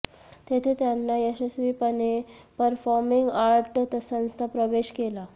तेथे त्याने यशस्वीपणे परफॉर्मिंग आर्ट संस्था प्रवेश केला